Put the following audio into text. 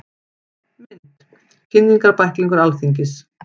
Mynd: Kynningarbæklingur Alþingis.